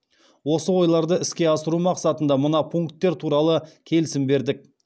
осы ойларды іске асыру мақсатында мына пункттер туралы келісім бердік